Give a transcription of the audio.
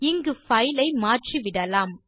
இங்கு பைல் ஐ மாற்றிவிடலாம்